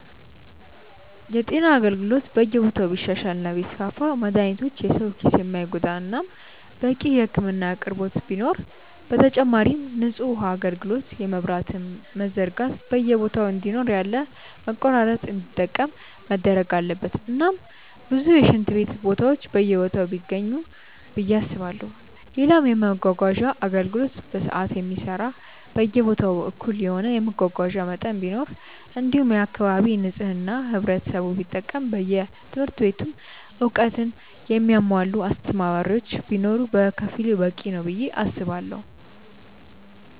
የጤና አገልግሎት በየቦታው ቢሻሻል እና ቢስፋፋ መድሃኒቶች የሰው ኪስ የማይጎዳ እናም በቂ የህክምና አቅርቦት ቢኖር፣ በተጨማሪም ንጹህ ውሃ አጋልግሎት የመብራትም መዘርጋት በየቦታ እንዲኖር ያለ መቆራረጥ እንዲጠቀም መደረግ አለበት እናም ብዙ የሽንት ቤት ቦታዎች በየቦታው ቢገኙ ብዬ አስባለው፣ ሌላም የመመጓጓዣ አገልግሎት በሰዓት የሚሰራ በየቦታው እኩል የሆነ የመጓጓዣ መጠን ቢኖር እንዲሁም የአካባቢ ንጽህና ህብረተሰቡ ቢጠብቅ በየትምህርት ቤቱም እውቀትን ያሙዋላ አስተማሪዎች ቢኖር በከፊሉ በቂ ነው ብዬ አስባለው።